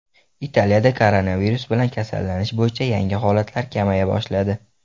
Italiyada koronavirus bilan kasallanish bo‘yicha yangi holatlar kamaya boshladi.